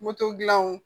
Moto dilan